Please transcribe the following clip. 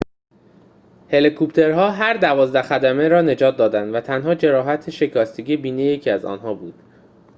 هلیکوپترها هر دوازده خدمه را نجات دادند و تنها جراحت شکستگی بینی یکی از آنها بود